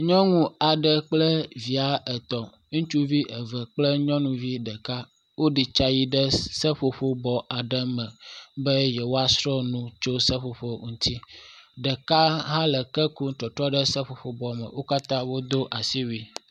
Nyɔnu aɖe kple via et. Ŋutsuvi eve kple nyunuvi ɖeka wo ɖetsa yi ɖe seƒoƒo bɔ aɖe me be yewoa sr nu tso seƒoƒo ŋuti. Ɖeka hã le ke kum trɔtrɔm ɖe seƒoƒo bɔ me. Wo katã wodo asiwue.